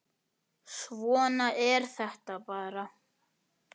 Svona er þetta bara.